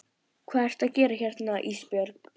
Hvað ertu að gera hérna Ísbjörg?